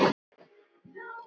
Hann fer upp úr dalnum.